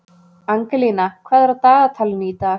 Angelína, hvað er á dagatalinu í dag?